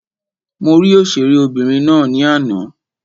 Mo rí òṣèré obìnrin ná ní àná.